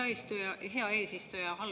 Aitäh, hea eesistuja!